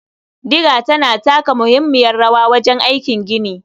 Diga tana taka muhimmiyar rawa wajen aikin gini.